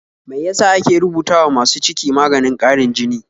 Mai yasa ake rubuta wa masu ciki maganin ƙarin jini?